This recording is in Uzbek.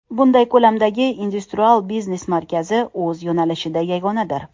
Bunday ko‘lamdagi industrial biznes markazi – o‘z yo‘nalishida yagonadir.